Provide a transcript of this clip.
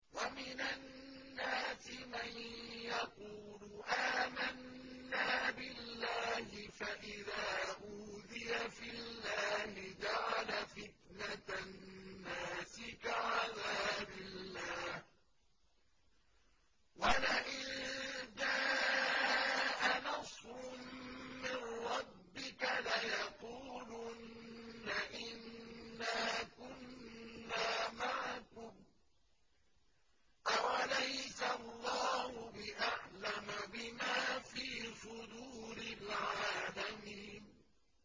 وَمِنَ النَّاسِ مَن يَقُولُ آمَنَّا بِاللَّهِ فَإِذَا أُوذِيَ فِي اللَّهِ جَعَلَ فِتْنَةَ النَّاسِ كَعَذَابِ اللَّهِ وَلَئِن جَاءَ نَصْرٌ مِّن رَّبِّكَ لَيَقُولُنَّ إِنَّا كُنَّا مَعَكُمْ ۚ أَوَلَيْسَ اللَّهُ بِأَعْلَمَ بِمَا فِي صُدُورِ الْعَالَمِينَ